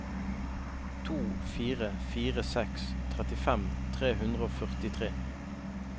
to fire fire seks trettifem tre hundre og førtitre